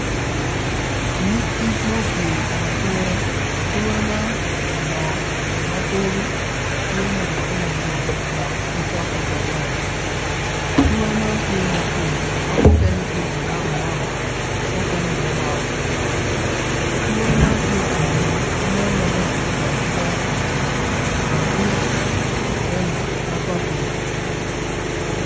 Nyig kic ma opye i kom ature, atura man odongo ma korgi tye mulutte ma bor dok pe cok ki dog ngom atura man tye mapol ma mukene tye ma ngok angoka mukene dong ongoko atura man tye ka meny ma nen maleng adida ki dero pa ceng kun tye rangi ma papul